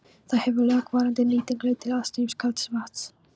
Þar hefur langvarandi nýting leitt til aðstreymis kalds vatns.